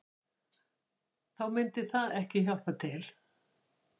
Þá myndi það ekki hjálpa til